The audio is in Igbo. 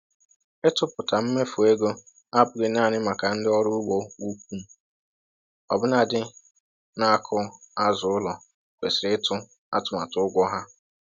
Ịtụpụta mmefu ego abụghị naanị maka ndị ọrụ ugbo ukwu; ọbụna ndị na-akụ azụ ụlọ kwesịrị ịtụ atụmatụ ụgwọ ha